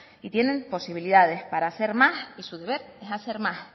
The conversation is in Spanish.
y tienen posibilidades para hacer más y su deber es hacer más